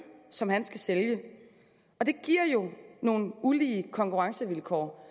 som han skal sælge og det giver jo nogle ulige konkurrencevilkår